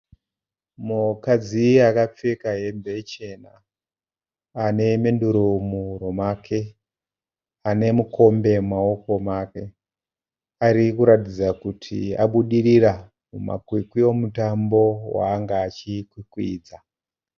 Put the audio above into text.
Mukadzi akapfeka hembe chena. Ane menduru muhuro make. Ane mukombe mumaoko make. Ari kuratidza kuti abudirira mumakwikwi omutambo waanga achikwikwidza.